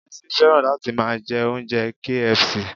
Bísí fẹ́ràn láti máa jẹ oúnjẹ KFC